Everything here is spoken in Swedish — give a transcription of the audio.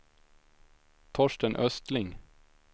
Torsten Östling